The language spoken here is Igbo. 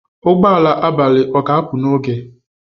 Ụgbọ ala abalị ọ ga-apụ n'oge?